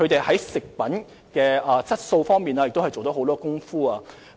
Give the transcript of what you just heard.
在食品質素方面亦下了很多工夫。